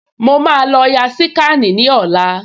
Mo máa lọ ya síkànì ní ọ̀la